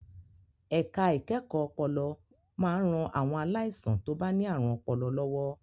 Ẹ̀ka ìkẹ́kọ̀ọ́ ọpọlọ máa ń ran àwọn aláìsàn tó bá ní àrùn ọpọlọ lọ́wọ́.